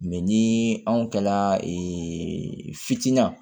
Mɛ ni anw kilala fitinin na